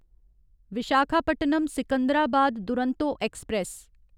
Visakhapatnam Secunderabad Duronto express